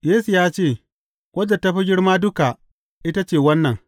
Yesu ya ce, Wadda ta fi girma duka, ita ce wannan.